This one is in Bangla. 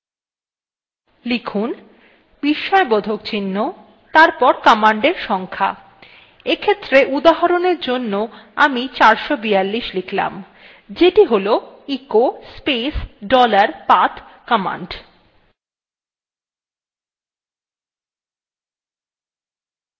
লিখুন বিস্ময়বোধক চিহ্ন তারপর command সংখ্যা এক্ষেত্রে উদাহরণ এর জন্য আমি 442 লিখলাম যেটি হল echo space dollar path command